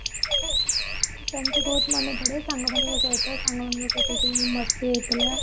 ସେମିତି ବହୁତ ମାନେ ପଡେ ସାଙ୍ଗ ମାନଙ୍କ ସହିତ ସାଙ୍ଗ ମାନଙ୍କ ସହିତ ଯୋଉ ମସ୍ତି ହଉଥିଲା